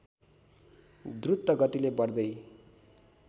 द्रुत गतिले बढ्दै